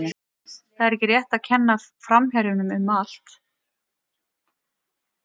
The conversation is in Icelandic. Það er ekki rétt að kenna framherjunum um allt.